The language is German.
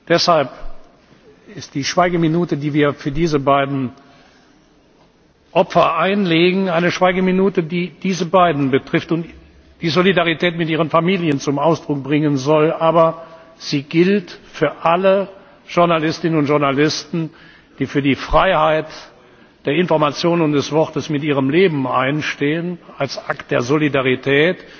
Deshalb ist die Schweigeminute, die wir für diese beiden Opfer einlegen, eine Schweigeminute, die diese beiden betrifft und die Solidarität mit ihren Familien zum Ausdruck bringen soll, aber sie gilt auch allen Journalistinnen und Journalisten, die für die Freiheit der Information und des Wortes mit ihrem Leben einstehen, als Akt der Solidarität.